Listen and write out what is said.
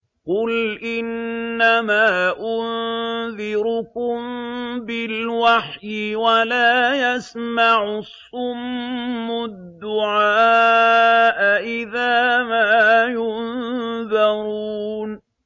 قُلْ إِنَّمَا أُنذِرُكُم بِالْوَحْيِ ۚ وَلَا يَسْمَعُ الصُّمُّ الدُّعَاءَ إِذَا مَا يُنذَرُونَ